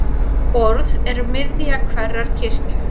Borð er miðja hverrar kirkju.